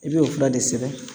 I bɛ o fila de sɛbɛn